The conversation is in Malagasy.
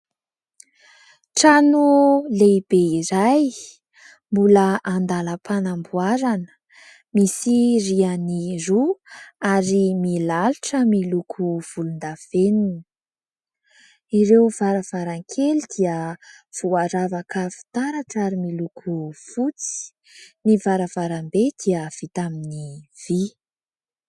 Trano lehibe iray mbola an-dàlam-panamboarana, misy rihana roa ary milalotra miloko volondavenona, ireo varavarankely dia voaravaka fitaratra ary miloko fotsy, ny varavarambe dia vita amin'ny vy.